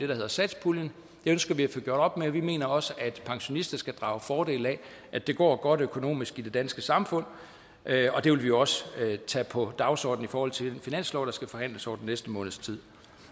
der hedder satspuljen det ønsker vi at få gjort op med vi mener også at pensionister skal drage fordel af at det går godt økonomisk i det danske samfund og det vil vi også tage på dagsordnen i forhold til den finanslov der skal forhandles over den næste måneds tid